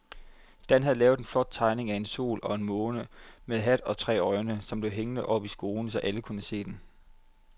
Dan havde lavet en flot tegning af en sol og en måne med hat og tre øjne, som blev hængt op i skolen, så alle kunne se den.